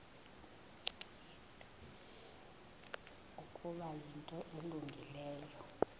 ukuba yinto elungileyo